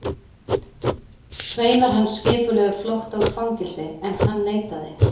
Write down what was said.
Sveinar hans skipulögðu flótta úr fangelsi, en hann neitaði.